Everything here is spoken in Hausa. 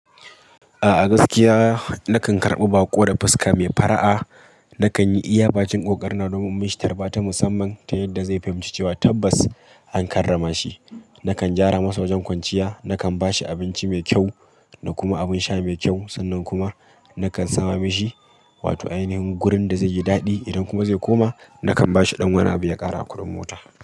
A'a gaskiya nakan karɓi baƙo da fuska mai fara'a, na kan yi iyabakin ƙoƙarina domin mun shi tarba ta musamman ta yadda zai fahimci cewa tabbas an karrama shi. Nakan gyara masa wajen kwanciya, nakan ba shi abinci mai kyau da kuma abin sha mai kyau. Sannan kuma nakan sama mishi wato ainihin gurin da zai yi daɗi. Idan kuma zai koma nakan ba shi ɗan wani abi ya ƙara a kudin mota.